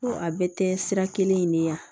Ko a bɛɛ tɛ sira kelen in de ye yan